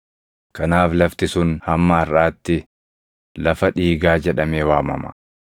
Kanaaf lafti sun hamma harʼaatti, “Lafa Dhiigaa” jedhamee waamama.